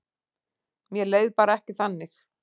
Mér leið bara ekki þannig.